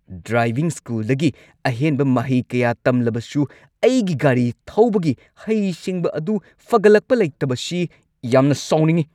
Driving ꯁ꯭ꯀꯨꯜꯗꯒꯤ ꯑꯍꯦꯟꯕ ꯃꯍꯩ ꯀꯌꯥ ꯇꯝꯂꯕꯁꯨ ꯑꯩꯒꯤ ꯒꯥꯔꯤ ꯊꯧꯕꯒꯤ ꯍꯩꯁꯤꯡꯕ ꯑꯗꯨ ꯐꯒꯠꯂꯛꯄ ꯂꯩꯇꯕꯁꯤ ꯌꯥꯝꯅ ꯁꯥꯎꯅꯤꯡꯉꯤ꯫